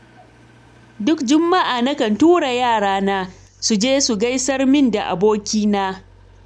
Duk juma'a nakan tura yarana, su je su gaisar min da abokina